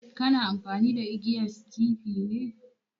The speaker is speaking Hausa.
Kana amfani da igiyan skifi ne?